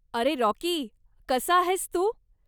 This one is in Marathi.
अरे राॅकी, कसा आहेस तू?